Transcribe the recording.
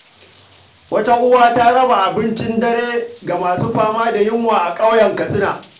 Wata uwa ta raba abincin dare ga masu fama da yunwa a ƙauyen Katsina.